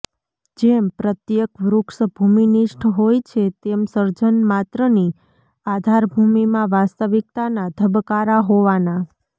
જેમ પ્રત્યેક વૃક્ષ ભૂમિનિષ્ઠ હોય છે તેમ સર્જનમાત્રની આધાર ભૂમિમાં વાસ્તવિકતાના ધબકારા હોવાના